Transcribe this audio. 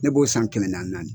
Ne b'o san kɛmɛ naani naani